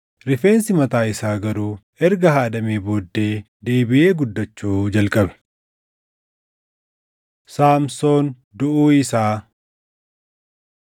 Rifeensi mataa isaa garuu erga haadamee booddee deebiʼee guddachuu jalqabe. Saamsoon Duʼuu Isaa